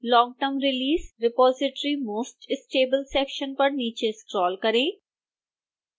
long term release repository most stable section पर नीचे scroll करें